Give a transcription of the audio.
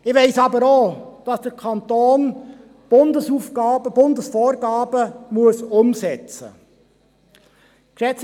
Ich weiss aber auch, dass der Kanton Bundesvorgaben umsetzen muss.